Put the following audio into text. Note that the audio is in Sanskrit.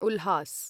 उल्हास्